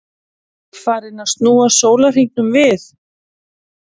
Með öðrum orðum, þessi efni safnast upp í líkama fuglanna meðan þeir lifa.